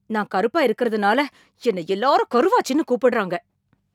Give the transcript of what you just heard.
நான் கருப்பா இருக்கறனால என்னை எல்லாரும் கருவாச்சின்னு கூப்பிடறாங்க.